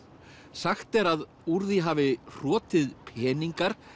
sagt er að úr því hafi hrotið peningar